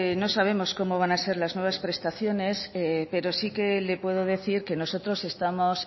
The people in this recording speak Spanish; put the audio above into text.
no sabemos cómo van a ser las nuevas prestaciones pero sí que le puedo decir que nosotros estamos